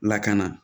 Lakana